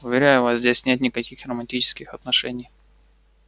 уверяю вас здесь нет никаких романтических отношений